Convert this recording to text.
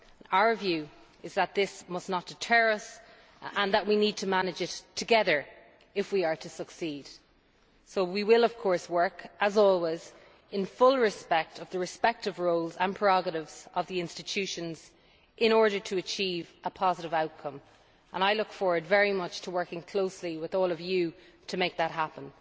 Our view is that this must not deter us, and that we need to manage it together if we are to succeed. We will of course work, as always, in full respect of the respective roles and prerogatives of the institutions in order to achieve a positive outcome. I look forward very much to working closely with all of you to make that happen.